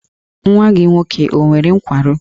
Nwa gị nwoke ọ nwere nkwarụ?